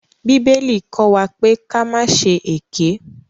Bíbélì kọ́ wa pé ka má ṣe èké.